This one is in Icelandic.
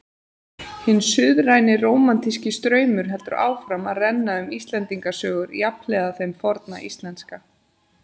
Hinn suðræni rómantíski straumur heldur áfram að renna um Íslendingasögur jafnhliða þeim forna íslenska.